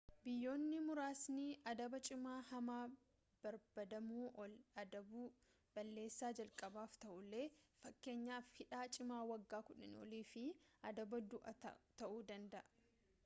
biyyoonni muraasni adaba cimaa hamma barbaadamuu ol adabu balleessaa jalqaabaaf ta'ullee fakkeenyaaf hidhaa cimaa waggaa 10 olii fi adaba du'aa ta'uu danda'a